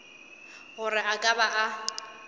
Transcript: gore a ka ba a